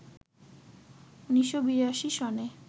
১৯৮২ সনে